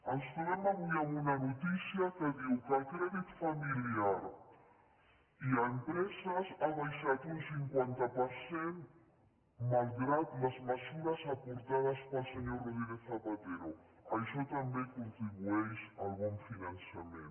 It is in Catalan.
ens trobem avui amb una notícia que diu que el crèdit familiar i a les empreses ha baixat un cinquanta per cent malgrat les mesures aportades pel senyor rodríguez zapatero això també contribueix al bon finançament